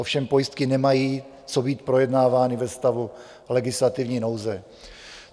Ovšem pojistky nemají co být projednávány ve stavu legislativní nouze.